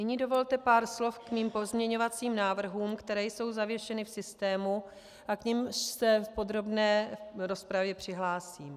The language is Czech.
Nyní dovolte pár slov k mým pozměňovacím návrhům, které jsou zavěšeny v systému a k nimž se v podrobné rozpravě přihlásím.